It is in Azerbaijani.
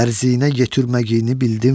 Ərzinə yetirməgini bildim.